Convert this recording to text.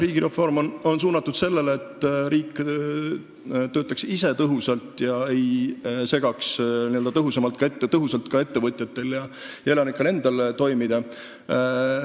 Riigireform on suunatud sellele, et riik töötaks ise tõhusalt ega segaks ka ettevõtjate ja elanike enda toimimist.